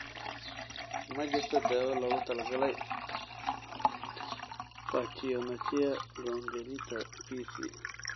Ma jirto daawo loogu talagalay pachyonychia congenita (PC).